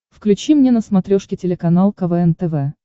включи мне на смотрешке телеканал квн тв